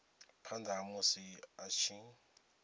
phanda ha musi a tshi